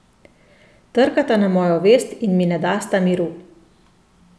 Trkata na mojo vest in mi ne dasta miru.